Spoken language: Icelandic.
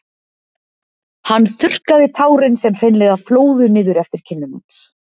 Hann hann þurrkaði tárin sem hreinlega flóðu niður eftir kinnum hans.